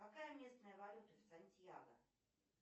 какая местная валюта в сантьяго